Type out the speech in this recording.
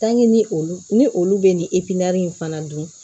ni olu ni olu be nin in fana dun